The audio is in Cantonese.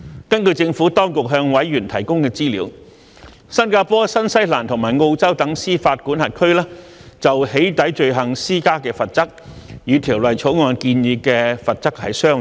根據政府當局向委員提供的資料，新加坡、新西蘭及澳洲等司法管轄區就"起底"罪行施加的罰則，與《條例草案》建議的罰則相若。